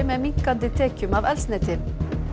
með minnkandi tekjum af eldsneyti